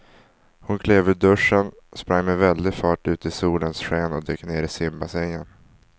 Hon klev ur duschen, sprang med väldig fart ut i solens sken och dök ner i simbassängen.